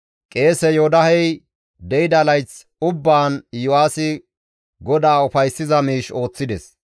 Qeese Yoodahey de7ida layth ubbaan Iyo7aasi GODAA ufayssiza miish ooththides.